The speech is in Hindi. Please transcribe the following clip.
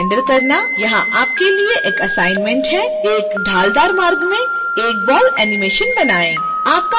यहां आपके लिए एक असाइनमेंट है एक ढालदार मार्ग में एक बॉल animation बनाएँ